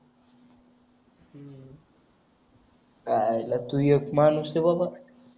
आयला तू एक माणूस ए बाबा